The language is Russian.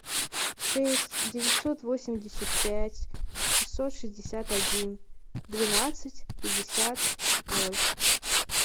шесть девятьсот восемьдесят пять шестьсот шестьдесят один двенадцать пятьдесят ноль